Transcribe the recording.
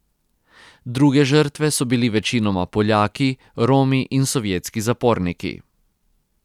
Druge žrtve so bili večinoma Poljaki, Romi in sovjetski zaporniki.